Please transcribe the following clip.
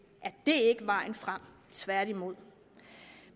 er det ikke vejen frem tværtimod